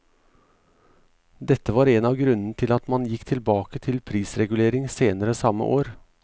Dette var en av grunnene til at man gikk tilbake til prisregulering senere samme år.